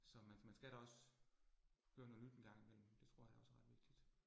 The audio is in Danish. Så man man skal da også høre noget nyt en gang imellem, det tror jeg da også er ret vigtigt